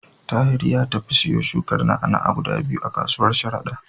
Tahir ya tafi ya siyo shukar na'a-na'a guda biyu a kasuwar Sharada.